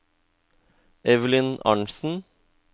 Evelyn Arntzen